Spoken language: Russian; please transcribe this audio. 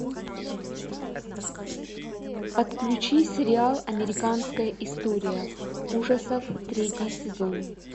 отключи сериал американская история ужасов третий сезон